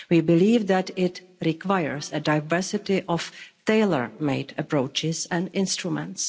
We believe that it requires a diversity of tailor made approaches and instruments.